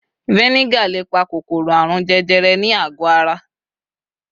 fxvinegar le pa kòkòrò arun jẹjẹrẹ nì àgó ara